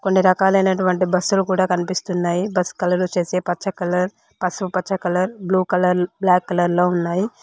కొన్ని రకాలైనటువంటి బస్సులు కూడా కనిపిస్తున్నాయి బస్ కలర్ వచ్చేసి పచ్చ కలర్ పసుపుపచ్చ colour blue colour black colour లో ఉన్నాయి.